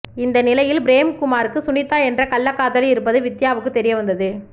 இந்த நிலையில் பிரேம்குமாருக்கு சுனிதா என்ற கள்ளக்காதலி இருப்பது வித்யாவுக்கு தெரியவந்தது